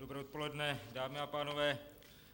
Dobré odpoledne, dámy a pánové.